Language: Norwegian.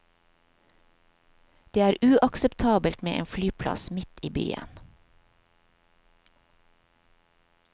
Det er uakseptabelt med en flyplass midt i byen.